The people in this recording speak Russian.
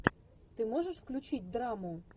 ты можешь включить драму